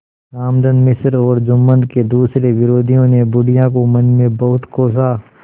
रामधन मिश्र और जुम्मन के दूसरे विरोधियों ने बुढ़िया को मन में बहुत कोसा